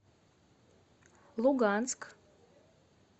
луганск